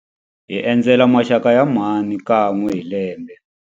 Hi endzela maxaka ya mhani kan'we hi lembe.